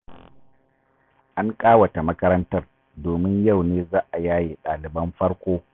An ƙawata makarantar, domin yau ne za a yaye ɗaliban farko.